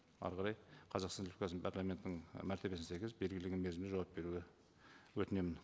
әрі қарай қазақстан республикасының парламентінің і мәртебесіне сәйкес белгіленген мерзімде жауап беруді өтінемін